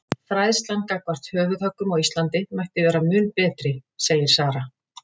Fræðslan gagnvart höfuðhöggum á Íslandi mætti vera mun betri segir Sara.